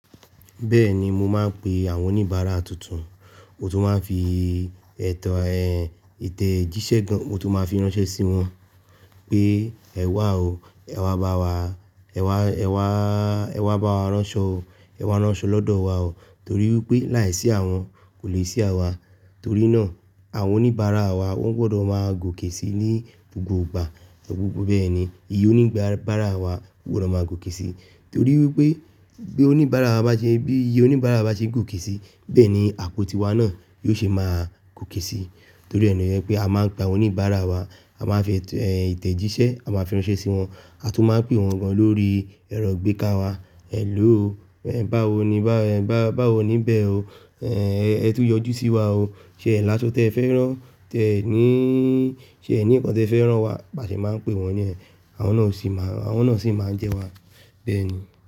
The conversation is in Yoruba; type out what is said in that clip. Bẹ́ẹ̀ni, mo máa ń pe àwọn oníbàárà tuntun, mo tún máa ń fi ètò, ẹ́, ìtẹ̀jíṣẹ́ gan, mo tún máa ń fi ránṣẹ́ sí wọn pé ẹ̀ wá o, ẹ̀ wá bá wa, ẹ̀ wá, ẹ̀ wá, ẹ̀ wá bá wa ránṣọ o, ẹ̀ wá ránṣọ lọ́dọ̀ wa o. Torí wípé láìsí àwọn kò lè sí àwa. Torí náà àwọn oníbàárà wa wọ́n gbọdọ̀ máa gòkè si ní gbogbo ìgbà, gbogbo bẹ́ẹ̀ ni iye oníbàárà wa gbọdọ̀ máa gòkè si. Torí wípé bí oníbàárà bá ṣe, bí iye oníbàárà bá ṣe ń gòkè si, bẹ́ẹ̀ ni àpótí wa náà yóò ṣe máa gòkè si. Torí rẹ̀ lo jèpé a máa ń pè oníbàárà wa, a máa ń fi ètò, ẹ́, ìtẹ̀jíṣẹ́, a máa fi ránṣẹ́ sí wọn, a tún máa ń pè wọ́n gan lórí ẹ̀rọ gbéká wa. "Ẹ̀lóò o, ẹ́, báwo ni, báwo ni bẹ́ẹ̀ o, ẹ́, ẹ tún yọjú sí wa o. Ṣé ẹ̀ láso tẹ́ ẹ fẹ́ rán, tẹ ní, ṣe ẹ ní nǹkan tí ẹ fẹ́ rán wá?" A sì máa ń pè wọ́n ni yẹ́n, àwọn náà sì máa ń, àwọn náà sì máa ń jẹ wa. Bẹ́ẹ̀ ni.